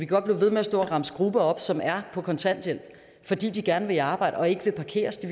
godt blive ved med at stå og remse grupper op som er på kontanthjælp fordi de gerne vil arbejde og ikke vil parkeres de